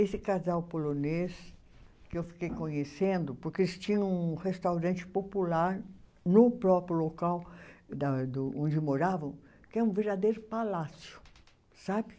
Esse casal polonês que eu fiquei conhecendo, porque eles tinham um restaurante popular no próprio local da do onde moravam, que é um verdadeiro palácio, sabe?